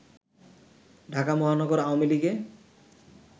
ঢাকা মহানগর আওয়ামী লীগে